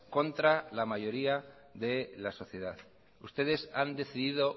contra la mayoría de la sociedad ustedes han decidido